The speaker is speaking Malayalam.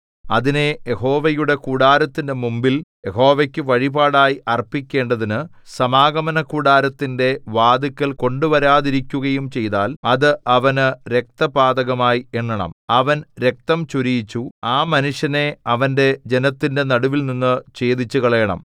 അതിനെ യഹോവയുടെ കൂടാരത്തിന്റെ മുമ്പിൽ യഹോവയ്ക്കു വഴിപാടായി അർപ്പിക്കേണ്ടതിനു സമാഗമനകൂടാരത്തിന്റെ വാതില്ക്കൽ കൊണ്ടുവരാതിരിക്കുകയും ചെയ്താൽ അത് അവനു രക്തപാതകമായി എണ്ണണം അവൻ രക്തം ചൊരിയിച്ചു ആ മനുഷ്യനെ അവന്റെ ജനത്തിന്റെ നടുവിൽനിന്നു ഛേദിച്ചുകളയണം